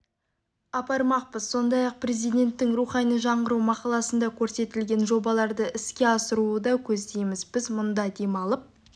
апармақпыз сондай-ақ президенттің рухани жаңғыру мақаласында көрсетілген жобаларды іске асыруы да көздейміз біз мұнда демалып